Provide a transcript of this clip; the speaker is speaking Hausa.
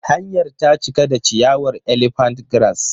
Hanyar ta cika da ciyawar Elephant grass.